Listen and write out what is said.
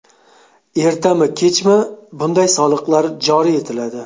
Ertami-kechmi bunday soliqlar joriy etiladi.